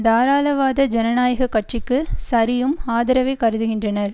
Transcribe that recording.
தாராளவாத ஜனநாயக கட்சிக்கு சரியும் ஆதரவை கருதுகின்றனர்